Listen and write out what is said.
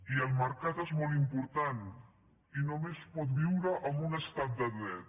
i el mercat és molt important i només pot viure en un estat de dret